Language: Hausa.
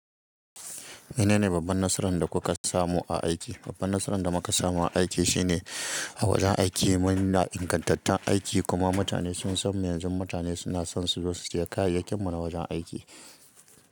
Menene babban nasaran da kuka samu a aiki? Babban nasaran da muka samu a aiki shine a wajen aiki muna da ingantattun aiki kuma mutane sun san mu. Yanzu mutane suna son su zo su saya kayayyakin mu na wajen aiki.